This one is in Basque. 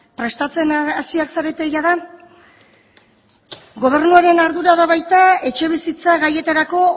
prestatzen hasi ahal zarete jada gobernuaren ardura da baita etxebizitza gaietarako